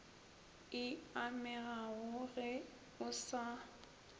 e amegago ge o sa